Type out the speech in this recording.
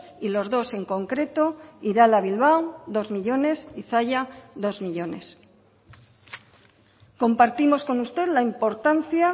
y los dos en concreto irala bilbao dos millónes y zalla dos millónes compartimos con usted la importancia